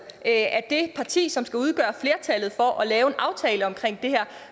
af det parti som skal udgøre flertallet for at lave en aftale om det her